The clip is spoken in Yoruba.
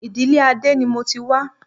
Ìdílé Adé ni mo ti wá